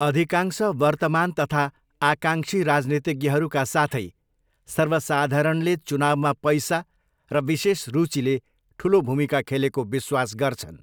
अधिकांश वर्तमान तथा आकाङ्क्षी राजनीतिज्ञहरूका साथै सर्वसाधारणले चुनाउमा पैसा र विशेष रुचिले ठुलो भूमिका खेलेको विश्वास गर्छन्।